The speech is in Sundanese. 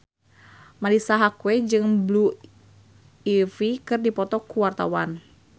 Marisa Haque jeung Blue Ivy keur dipoto ku wartawan